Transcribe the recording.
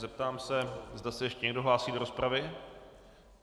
Zeptám se, zda se ještě někdo hlásí do rozpravy.